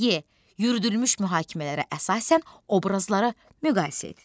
E. Yürüdülmüş mühakimələrə əsasən obrazları müqayisə et.